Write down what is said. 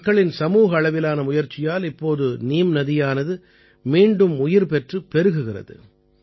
மக்களின் சமூக அளவிலான முயற்சியால் இப்போது நீம் நதியானது மீண்டும் உயிர் பெற்றுப் பெருகுகிறது